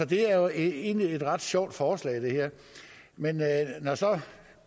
det er jo egentlig et ret sjovt forslag men når